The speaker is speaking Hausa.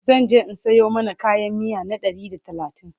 zanje in Sayo mana kayan miya na Ɗari da talatin